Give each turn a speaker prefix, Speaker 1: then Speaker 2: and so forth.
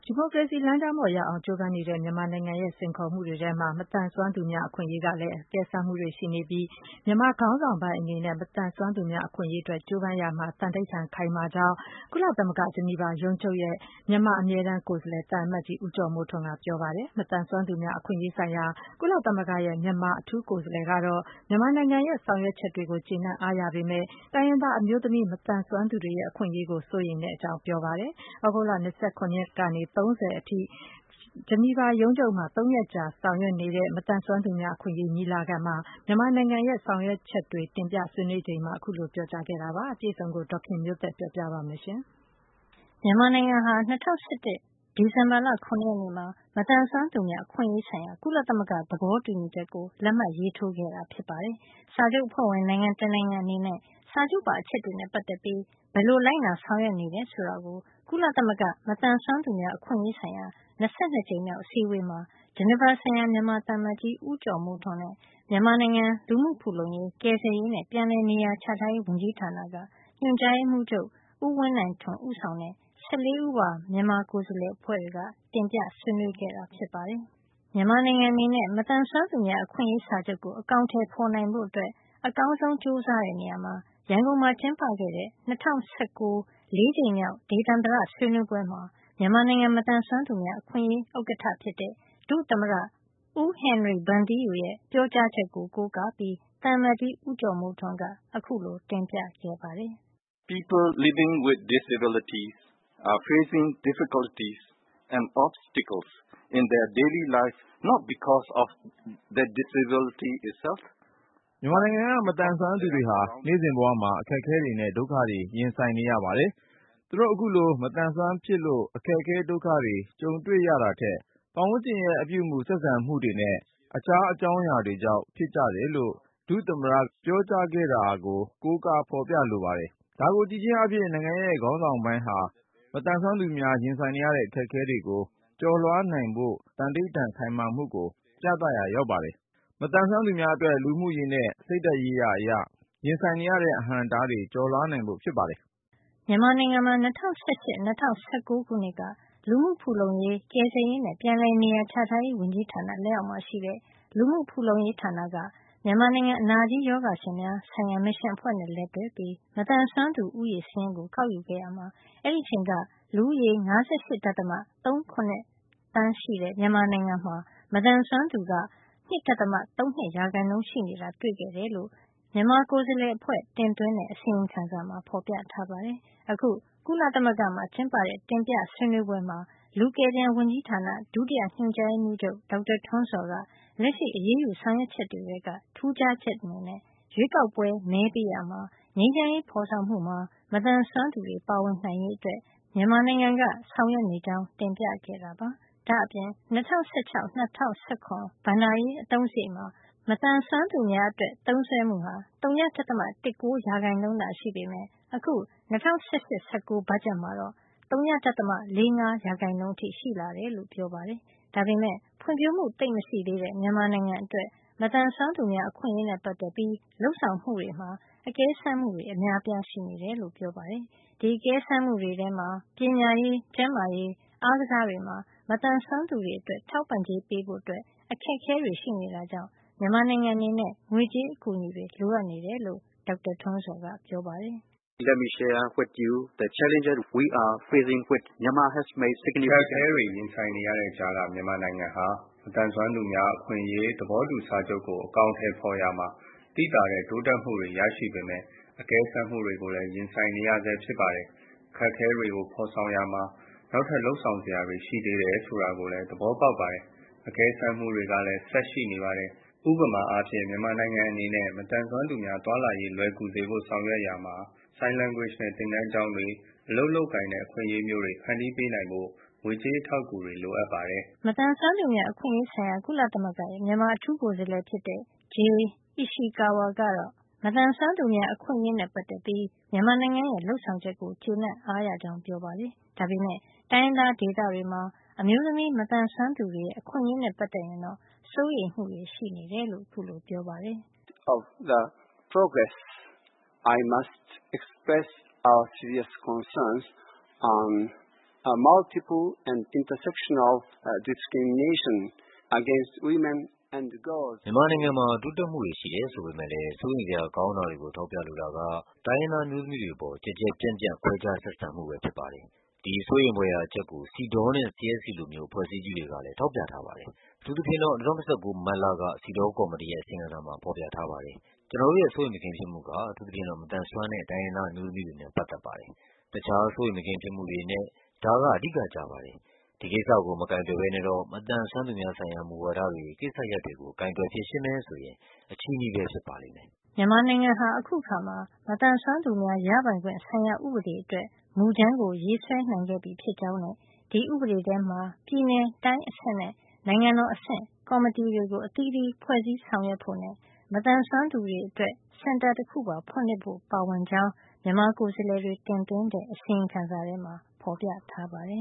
Speaker 1: ီမိုကရေစီလမ်းကြောင်းပေါ် လျှောက်လှမ်းဖို့ ကြိုးပမ်းနေတဲ့ မြန်မာနိုင်ငံအတွက် ကြုံနေရတဲ့စိန်ခေါ်မှု အများအပြားထဲမှာ မသန်စွမ်းသူများ အခွင့်ရေးဆိုင်ရာမှာ အကဲစမ်းမှုတွေလည်း ပါဝင်နေတာ ဖြစ်ပြီး မြန်မာခေါင်းဆောင်ပိုင်းအနေနဲ့ မသန်စွမ်းသူများ အခွင့်ရေးအတွက် ကြိုးပမ်းရာမှာ သန္နိဋ္ဌာန် ခိုင်မာမှုရှိတယ်လို့ ကုလသမဂ္ဂ ဂျနီဗာရုံးချုပ်ရဲ့ မြန်မာအမြဲတမ်းကိုယ်စားလှယ် သံအမတ်ကြီး ဦးကျော်မိုးထွန်းက ပြောပါတယ်။ မသန်စွမ်းသူများ အခွင့်ရေးဆိုင်ရာ ကုလသမဂ္ဂရဲ့ မြန်မာအထူးကိုယ်စားလှယ်ကတော့ မြန်မာနိုင်ငံရဲ့ လုပ်ဆောင်ချက်တွေကို ကျေနပ် အားရပေမယ့် တိုင်းရင်းသား ဒေသတွေမှာ အမျိုးသမီး မသန်စွမ်းသူတွေ ရဲ့ အခွင့်ရေးနဲ့ ပတ်သက်ရင်တော့ စိုးရိမ်မှုတွေ ရှိတယ်လို့ ပြောပါတယ်။ သြဂုတ်လ ၂၇ ရက်နေ့ကနေ ၃၀ ရက်နေ့အထိ ကုလသမဂ္ဂ ဂျနီဗာရုံးချုပ်မှာ ၃ ရက်ကြာပြုလုပ်တဲ့ မသန်စွမ်းသူများ အခွင့်ရေးအတွက် မြန်မာနိုင်ငံရဲ့ လုပ်ဆောင်ချက်တွေကို တင်ပြဆွေးနွေးချိန်မှာ အခုလို ပြောကြားခဲ့တာပါ။ အပြည့်အစုံကို ဒေါ်ခင်မျိုးသက်က ပြောပြပေးမှာပါ။ မြန်မာနိုင်ငံက ၂၀၁၁ ခုနှစ် ဒီဇင်ဘာလ ၇ ရက်နေ့မှာ မသန်စွမ်းသူများ အခွင့်ရေးဆိုင်ရာ ကုလသမဂ္ဂ သဘောတူညီချက်ကို လက်မှတ်ရေးထိုးခဲ့တာ ဖြစ်ပါတယ်။ စာချုပ်အဖွဲ့ဝင် နိုင်ငံတနိုင်ငံအနေနဲ့ စာချုပ်ပါ အချက်တွေနဲ့ ပတ်သက်ပြီး ဘယ်လိုလိုက်နာ ဆောင်ရွက်နေတယ်ဆိုတာကို ကုလသမဂ္ဂ မသန်စွမ်းသူများအခွင့်ရေးဆိုင်ရာ ၂၂ ကြိမ်မြောက် အစည်းဝေးမှာ ဂျနီဗာဆိုင်ရာ မြန်မာသံအမတ်ကြီး ဦးကျော်မိုးထွန်းနဲ့ မြန်မာနိုင်ငံ လူမှုဖူလုံရေး၊ ကယ်ဆယ်ရေးနဲ့ ပြန်လည်နေရာချထားရေး ဝန်ကြီးဌာနက ညွှန်ကြားရေးမှူးချုပ် ဦးဝင်းနိုင်ထွန်း ဦးဆောင်တဲ့ ၁၄ ဦးပါ မြန်မာ ကိုယ်စားလှယ်တွေက တင်ပြဆွေးနွေးခဲ့တာ ဖြစ်ပါတယ်။ မြန်မာနိုင်ငံအနေနဲ့ မသန်စွမ်းသူများ အခွင့်ရေး စာချုပ်ကို အကောင်ထည်ဖေါ်နိုင်ဖို့ အကောင်းဆုံး ကြိုးစားတဲ့ နေရာမှာ ရန်ကုန်မှာ ကျင်းပခဲ့တဲ့ ၂၀၁၉ - ၄ ကြိမ်မြောက် ဒေသန္တရဆွေးနွေးပွဲမှာ မြန်မာနိုင်ငံ မသန်စွမ်းသူများအခွင့်ရေး ဥက္ကဌဖြစ်တဲ့ ဒုသမ္မတ ဦးဟင်နရီ ဗန်သီးယူ ရဲ့ ပြောကြားချက်ကို ကိုးကားပြီး သံအမတ်ကြီး ဦးကျော်မိုးထွန်းက အခုလို တင်ပြခဲ့ပါတယ်။ “မြန်မာနိုင်ငံက မသန်စွမ်းသူတွေဟာ နေ့စဉ်ဘဝမှာ အခက်အခဲတွေနဲ့ ဒုက္ခတွေ ရင်ဆိုင်နေရပါတယ်။ သူတို့ အခုလို မသန်စွမ်းဖြစ်လို့ အခက်အခဲ ဒုက္ခတွေ ကြုံတွေ့ရတာထက် ပတ်ဝန်းကျင်ရဲ့ အပြုအမူ၊ ဆက်ဆံမှုတွေနဲ့ တခြားအကြောင်းအရာတွေကြောင့် ဖြစ်ကြတယ်လို့ ဒုတိယ သမ္မတက ပြောကြားခဲ့ တာကို ကိုးကား ဖော်ပြလိုပါတယ်။ ဒါကို ကြည့်ခြင်းအားဖြင့် နိုင်ငံ့ရဲ့ခေါင်းဆောင်ပိုင်းဟာ မသန်စွမ်းသူများ ရင်ဆိုင်နေရတဲ့ အခက်အခဲတွေကို ကျော်လွှားနိုင်ဖို့ နိုင်ငံ့ခေါင်းဆောင်ပိုင်းရဲ့ သန္နိဋ္ဌာန် ခိုင်မာမှုကို ပြသရာရောက်ပါတယ်။ မသန်စွမ်းသူများအတွက် လူမှုရေးနဲ့ စိတ်ဓာတ်ရေးရာအရ ရင်ဆိုင်နေရတဲ့ အဟန့်အတားတွေ ကျော်လွှားနိုင်ဖို့ ဖြစ်ပါတယ်။” မြန်မာနိုင်ငံမှာ ၂၀၁၈ - ၂၀၁၉ ခုနှစ်က လူမှုဖူလုံရေး၊ ကယ်ဆယ်ရေးနဲ့ ပြန်လည်နေရာချထားရေး ဝန်ကြီးဌာနလက်အောက်မှာ ရှိတဲ့ လူမှုဖူလုံရေးဌာနက မြန်မာနိုင်ငံ အနာကြီးရောဂါရှင်များ ဆိုင်ရာမစ်ရှင်အဖွဲ့နဲ့ လက်တွဲပြီး မသန်စွမ်းသူဦးရေ စာရင်းကို ကောက်ယူခဲ့ရာမှာ အဲဒီအချိန်က လူဦးရေ ၅၈.၃၇ သန်း ရှိတဲ့ မြန်မာနိုင်ငံမှာ မသန်စွမ်းသူက ၂.၃၂ % ရှိနေတာ တွေ့ခဲ့ရတယ်လို့ မြန်မာကိုယ်စားလှယ်အဖွဲ့ တင်သွင်းတဲ့ အစီရင်ခံစာမှာ ဖေါ်ပြထားပါတယ်။ အခု ကုလသမဂ္ဂမှာ ကျင်းပတဲ့ တင်ပြဆွေးနွေးပွဲမှာ လူကယ်ပြန် ဝန်ကြီးဌာန ဒုတိယညွှန်ကြားရေးမှူးချုပ် ဒေါက်တာထွန်းဇော်က လက်ရှိ အရေးယူဆောက်ရွက်ချက် တွေထဲက ထူးခြားချက်အနေနဲ့ ရွေးကောက်ပွဲ မဲပေးရာမှာနဲ့ ငြိမ်းချမ်းရေး ဖေါ်ဆောင်မှုမှာ မသန်စွမ်းသူများ ပါဝင်နိုင်ရေးအတွက် မြန်မာနိုင်ငံက ဆောင်ရွက်နေကြောင်း တင်ပြခဲ့တာပါ။ ဒါ့အပြင် ၂၀၁၆ - ၁၇ ဘဏ္ဍာရေး အသုံးစားရိတ်မှာ မသန်စွမ်းသူများအတွက် သုံးစွဲမှုဟာ ဝ.၁၉ % သာရှိပေမယ့် အခု ၂၀၁၈ - ၁၉ ဘတ်ဂျက်မှာတော့ ဝ.၄၅ % အထိ ရှိလာတယ်လို့ ပြောပါတယ်။ ဒါပေမယ့် ဖွံ့ဖြိုးမှုသိပ်မရှိသေးတဲ့ မြန်မာနိုင်ငံ အတွက် မသန်စွမ်းသူများ အခွင့်ရေးနဲ့ ပတ်သက်ပြီး လုပ်ဆောင်မှုတွေမှာ အကဲစမ်းမှုတွေ အများအပြား ရှိနေတယ်လို့ ပြောပါတယ်။ ဒီအကဲစမ်းမှုတွေ ထဲမှာ ပညာရေး၊ ကျန်းမာရေး၊ အားကစား တွေမှာ မသန်စွမ်းသူတွေ အတွက် ထောက်ပံ့ကြေး ပေးဖို့ အခက်အခဲတွေ ရှိနေတာကြောင့် မြန်မာနိုင်ငံအနေနဲ့ ငွေကြေးအကူအညီတွေ လိုအပ်နေတယ်လို့ ဒေါက်တာထွန်းဇော်က ပြောပါတယ်။ “အခက်အခဲတွေ ရင်ဆိုင်နေရတဲ့ကြားက မြန်မာနိုင်ငံဟာ မသန်စွမ်းသူများ အခွင့်အရေး သဘောတူစာချုပ်ကို အကောင်အထည်ဖော်ရာမှာ သိသာတဲ့တိုးတက်မှုတွေ ရရှိပေမယ့်အကဲစမ်းမှုတွေကိုလည်း ရင်ဆိုင်နေရဆဲဖြစ်ပါတယ်။ အခက်အခဲတွေကို ဖော်ဆောင်ရာမှာ နောက်ထပ် လုပ်ဆောင်စရာတွေ ရှိသေးတယ်ဆိုတာကို သဘောပေါက်ပါတယ်။ အကဲစမ်းမှုတွေကလည်း ဆက်ရှိနေပါတယ်။ ဥပမာအားဖြင့် မြန်မာနိုင်ငံ အနေနဲ့ မသန်စွမ်းသူများ သွားလာရေး လွယ်ကူစေဖို့ ဆောင်ရွက်ရာမှာနဲ့ sign language သင်တန်းကျောင်းတွေ၊ အလုပ်လုပ်ကိုင်တဲ့ အခွင့်အရေးမျိုးတွေ ဖန်တီးပေးနိုင်ဖို့ ငွေကြေး အထောက်အကူတွေ လိုအပ်ပါတယ်။” မသန်စွမ်းသူများ အခွင့်ရေးဆိုင်ရာ ကုလသမဂ္ဂရဲ့ မြန်မာနိုင်ငံ ဆိုင်ရာ အထူးကိုယ်စားလှယ် ဖြစ်တဲ့ J. Ishikawa ကတော့ မသန်စွမ်းသူများ အခွင့်ရေးနဲ့ ပတ်သက်ပြီး မြန်မာနိုင်ငံရဲ့ လုပ်ဆောင်ချက်တွေကို ကျေနပ်အားရကြောင်း ပြောပါတယ်။ ဒါပေမယ့် တိုင်းရင်းသား ဒေသတွေမှာ အမျိုးသမီး မသန်စွမ်း သူတွေ ရဲ့ အခွင့်ရေးနဲ့ ပတ်သက်ရင်တော့ စိုးရိမ်မှုတွေ ရှိတယ်လို့ ပြောပါတယ်။ “မြန်မာနိုင်ငံမှာ တိုးတက်မှုတွေရှိတယ်ဆိုပေမယ့်လည်း စိုးရိမ်စရာကောင်းတာတွေကို ထောက်ပြလိုတာက - တိုင်းရင်းသားအမျိုးသမီးတွေ အပေါ် ကျယ်ကျယ်ပြန့်ပြန့် ခွဲခြားဆက်ဆံမှုပဲ ဖြစ်ပါတယ်။ ဒီစိုးရိမ်ဖွယ်ရာ အချက်ကို CEDAW နဲ့ CSC လိုမျိုး အဖွဲ့အစည်းကြီးတွေကလည်း ထောက်ပြခဲ့ပါတယ်။ အထူးသဖြင့် ၂၀၁၉ မတ်လက စီဒေါ ကော်မတီရဲ့ အစီရင်ခံစာမှာ ဖော်ပြထားပါတယ်။ ကျနော်တို့ရဲ့ စိုးရိမ်မကင်း ဖြစ်မှုက အထူးသဖြင့် မသန်စွမ်းတဲ့ တိုင်းရင်းသား အမျိုးသမီးတွေနဲ့ ပတ်သက်ပါတယ်။ တခြားစိုးရိမ်မကင်းဖြစ်မှုတွေအနက် ဒါက အဓိက ကျပါတယ်။ ဒီကိစ္စကို မကိုင်တွယ်ဘဲနဲ့ မသန်စွမ်းသူများဆိုင်ရာ မူဝါဒတွေ၊ ကိစ္စရပ်တွေကို ကိုင်တွယ် ဖြေရှင်းမယ်ဆိုရင် အချည်းနှီးပဲ ဖြစ်ပါလိမ့်မယ်။” မြန်မာနိုင်ငံဟာ အခုအခါ မသန်စွမ်းသူများရပိုင်ခွင့်ဆိုင်ရာ ဥပဒေအတွက် မူကြမ်းကို ရေးဆွဲနိုင်ခဲ့ပြီဖြစ်ကြောင်းနဲ့ ဒီဥပဒေထဲမှာ ပြည်နယ် တိုင်းအဆင့်နဲ့ နိုင်ငံတော်အဆင့် ကောင်မတီတွေ အသီးသီး ဖွဲ့စည်းဆောင်ရွက်ဖို့နဲ့ မသန်စွမ်းသူများအတွက် စင်တာတခုဖွင့်လှစ်ဖို့ပါ ပါဝင်ကြောင်း မြန်မာကိုယ်စားလှယ်တွေ တင်သွင်းတဲ့ အစီရင်ခံစာထဲမှာ ဖေါ်ပြထားပါတယ